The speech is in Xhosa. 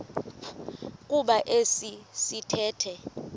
kuba esi sithethe